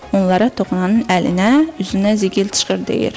Onlara toxunanın əlinə, üzünə zıxıl çıxır deyir.